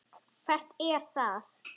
Hvert er það?